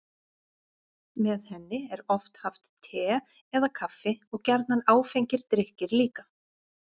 með henni er oft haft te eða kaffi og gjarnan áfengir drykkir líka